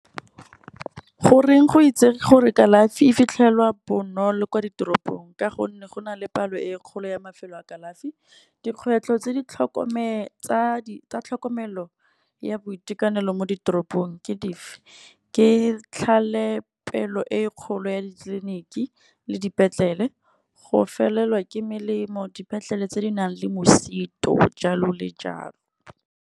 Goreng go itsege gore kalafi e fitlhelwa bonolo kwa ditoropong. Ka gonne go na le palo e kgolo ya mafelo a kalafi. Dikgwetlho tsa tlhokomelo ya boitekanelo mo ditoropong ke dife, ke tlhalepelo e kgolo ya ditleliniki le dipetlele, go felelwa ke melemo, dipetlele tse di nang le mosito jalo le jalo.